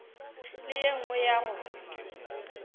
le ye nngwe ya go